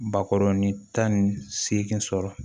Bakɔrɔnin tan ni seegin sɔrɔ